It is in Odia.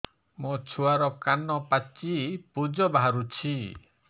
ମୋ ଛୁଆର କାନ ପାଚି ପୁଜ ବାହାରୁଛି